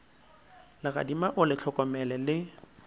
legadima o le hlokomele le